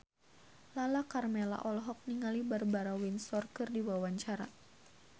Lala Karmela olohok ningali Barbara Windsor keur diwawancara